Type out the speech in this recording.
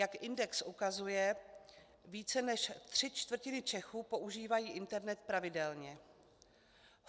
Jak index ukazuje, více než tři čtvrtiny Čechů používají internet pravidelně.